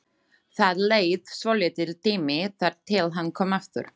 Það leið svolítill tími þar til hann kom aftur.